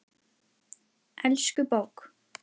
Elsku bók!